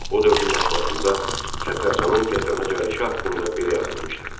O dövrün mətbuatında Səttarxanın Tehrana gəlişi haqqında belə yazılmışdı.